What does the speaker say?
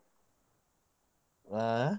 ಹಾ.